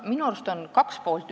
Minu arust on siin kaks poolt.